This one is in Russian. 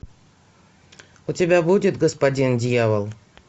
у тебя будет господин дьявол